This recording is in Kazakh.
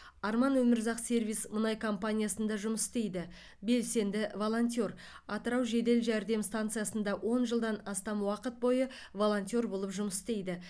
арман өмірзақ сервис мұнай компаниясында жұмыс істейді белсенді волонтер атырау жедел жәрдем станциясында он жылдан астам уақыт бойы волонтер болып жұмыс істейді